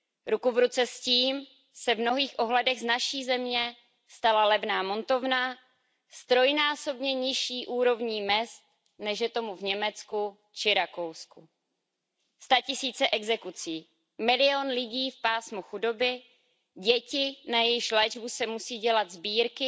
Ruku v ruce s tím se v mnohých ohledech z naší země stala levná montovna s trojnásobně nižší úrovní mezd, než je tomu v Německu či Rakousku. Statisíce exekucí, milion lidí v pásmu chudoby, děti, na jejichž léčbu se musí dělat sbírky,